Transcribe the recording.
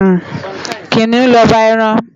Kiniún lòbá èrán